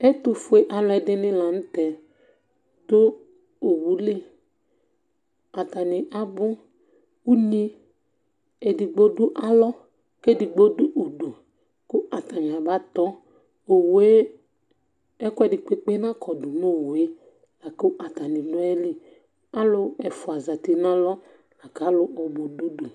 Ɛtufue aluɛdini la n'tɛ dù owu li, atani abú, unyi edigbo dù alɔ, k'edigbo dù udù, ku atani aba tɔ̃, owue ɛkuɛdi kpekpe n'akɔdu n'owue, la ku atani dù ayili, alu ɛfua dù alɔ, la ku alu ɔbu dù udue